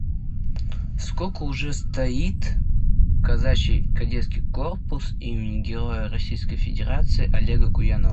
сколько уже стоит казачий кадетский корпус имени героя российской федерации олега куянова